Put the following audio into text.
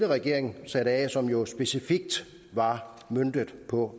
regering satte af som jo specifikt var møntet på